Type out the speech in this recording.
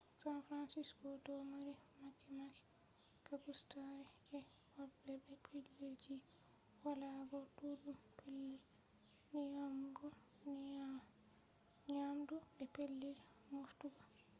san fransisco do mari mahe-mahe gaagustaare je hobbe be pellel ji walago duddum pellel nyamugo nyamdu be pellel moftugo